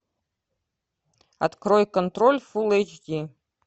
открой контроль фул эйч ди